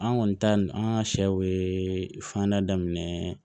An kɔni ta nin an ka sɛw ye fanda daminɛ